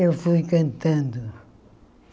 Eu fui cantando.